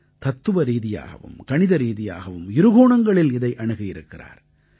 தத்துவரீதியாகவும் கணிதரீதியாகவும் இரு கோணங்களில் இதை அணுகியிருக்கிறார்